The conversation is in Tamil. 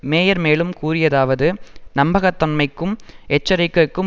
மேயர் மேலும் கூறியதாவது நம்பகத்தன்மைக்கும் எச்சரிக்கைக்கும்